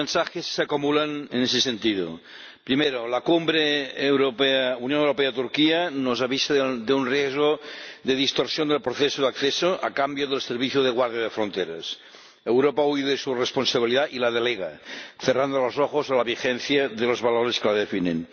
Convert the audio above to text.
Los mensajes se acumulan en ese sentido. Primero, la cumbre Unión Europea Turquía nos avisa de un riesgo de distorsión del proceso de adhesión, a cambio del servicio de guardia de fronteras. Europa huye de su responsabilidad y la delega, cerrando los ojos a la vigencia de los valores que la definen.